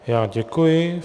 Já děkuji.